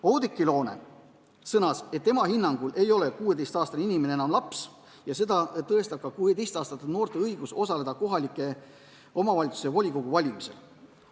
Oudekki Loone sõnas, et tema hinnangul ei ole 16-aastane inimene enam laps ja seda tõestab ka 16-aastaste noorte õigus osaleda kohaliku omavalitsuse volikogu valimisel.